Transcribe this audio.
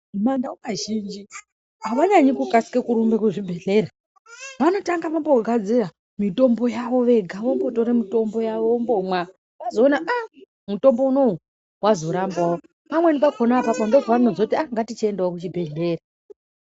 Mumanda wekazhinji avanyanyi kukasike kurumbe kuzvibhedleya vanotanga vambogadzira mitombo yavo vega vombotore mitombo yavo vombomwa vozoona ah mutombo wunowo wazorambawo pamweni ndokonapho pavanozoti ah ngatichiendawo kuchibhedhleya